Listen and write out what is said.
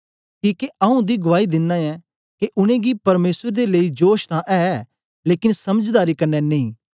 किके आऊँ उन्दी गुआई दिना ऐं के उनेंगी परमेसर दे लेई जोश तां ऐ लेकन समझदारी क्न्ने नेई